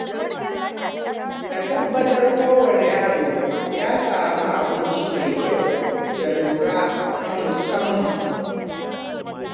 Ka tabbatar kowane yaro ya samu abinci mai kyau da kula ta musamman.